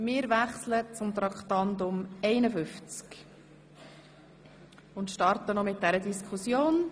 Wir kommen zum Traktandum 51 und starten mit der Diskussion.